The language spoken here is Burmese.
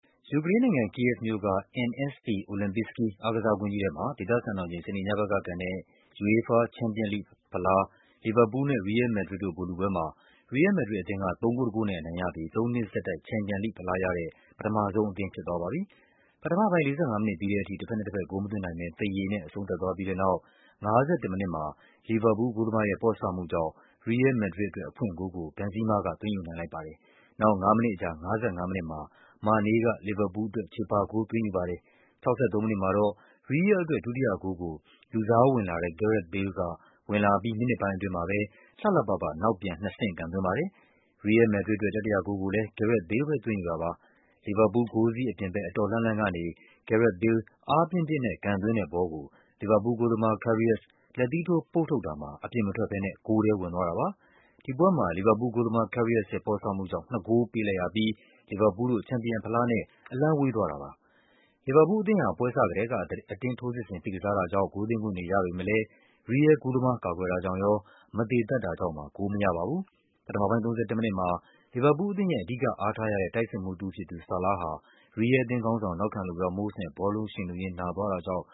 ယူကရိန်းနိုင်ငံ၊ ကိယက်ဗ်မြို့က NSC Olimpiyskiy အားကစားကွင်းကြီးထဲမှာ ဒေသ စံတော်ချိန် စနေညဘက်ကကန်တဲ့ UEFA ချန်ပီယံလိဂ်ဖလား လီဗာပူးလ်နဲ့ ရီးယဲလ် မက်ဒရစ်တို့ ဗိုလ်လုပွဲမှာ ရီးယဲလ် မက်ဒရစ်အသင်းက ၃ ဂိုး ၁ ဂိုးနဲ့ အနိုင်ရပြီး သုံးနှစ် ဆက်တိုက် ချန်ပီယံလိဂ်ဖလားရတဲ့ ပထမဆုံးအသင်းဖြစ်သွားပါပြီ။ ပထမပိုင်း ၄၅ မိနစ်ပြီးတဲ့အထိ တဘက်နဲ့တဘက် ဂိုးမသွင်းနိုင်ဘဲ သရေနဲ့ အဆုံးသတ် သွားပြီးတဲ့နောက် ၅၁ မိနစ်မှာ လီဗာပူးလ် ဂိုးသမားရဲ့ ပေါ့ဆမှုကြောင့် ရီးယဲလ် မက်ဒရစ် အတွက် အဖွင့်ဂိုးကို ဘန်ဇီးမားက သွင်းယူနိုင်လိုက်ပါတယ်။ နောက် ၅ မိနစ် အကြာ ၅၅ မိနစ်မှာ မာနေးက လီဗာပူးလ်အတွက် ချေပဂိုး သွင်းယူပါ တယ်။ ၆၃ မိနစ်မှာတော့ ရီးယဲလ်အတွက် ဒုတိယဂိုးကို လူစားဝင်လာတဲ့ ဂဲရက်သ် ဘေးလ်က ဝင်လာအပြီး မိနစ်ပိုင်းအတွင်းမှာပဲ လှလှပပ နောက်ပြန် နှစ်ဆင့်ကန်သွင်းပါတယ်။ ရီးယဲလ် မက်ဒရစ်အတွက် တတိယဂိုးကိုလည်း ဂဲရက်သ် ဘေးလ်ပဲ သွင်းယူတာပါ။ လီဗာပူးလ်ဂိုးစည်းအပြင်ဘက် အတော် လှမ်းလှမ်းကနေ ဂဲရက်သ် ဘေးလ် အားပြင်းပြင်း နဲ့ ကန်သွင်းတဲ့ဘောကို လီဗာပူးလ်ဂိုးသမား Karius လက်သီးထိုးပုတ်ထုတ်တာမှာ အပြင်မထွက်ဘဲ ဂိုးထဲဝင်သွားတာပါ။ ဒီပွဲမှာ လီဗာပူးလ်ဂိုးသမား Karius ရဲ့ ပေါ့ဆမှုကြောင့် နှစ်ဂိုးပေးလိုက်ရပြီး လီဗာပူးလ်တို့ ချန်ပီယံဖလားနဲ့ အလှမ်းဝေးသွားတာပါပဲ။ လီဗာပူးအသင်းဟာ ပွဲစကတည်းက အတင်းထိုးစစ်ဆင် ဖိကစားတာကြောင့် ဂိုးသွင်း ခွင့်တွေရပေမဲ့လည်း ရီးယဲလ်ဂိုးသမား ကာကွယ်တာကြောင့်ရော၊ မသေသပ် တာကြောင့်ပါ ဂိုးမရပါဘူး။ ပထမပိုင်း ၃၁ မိနစ်မှာ လီဗာပူးလ်အသင်းရဲ့ အဓိက အားထားရတဲ့ တိုက်စစ်မှူး တဦးဖြစ်သူ ဆာလားဟာ ရီးယဲလ်အသင်း ခေါင်းဆောင် နောက်ခံလူ ရာမို့စ်နဲ့ ဘောလုံး ယှဉ်လုရင်း နာသွားတာကြောင့်